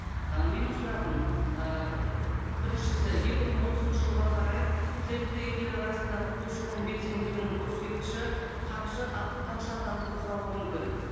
ы менің сұрағым ы біріншісі екі мың отызыншы жылға қарай тмд елдері арасындағы көші қон белсенділігінің көрсеткіші қанша қанша адамды құрауы мүмкін